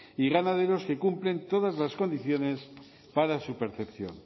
y ganaderos que cumplen todas las condiciones para su percepción